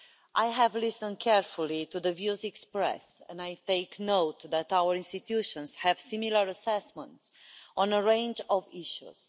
I have listened carefully to the views expressed and I take note that our institutions have similar assessments on a range of issues.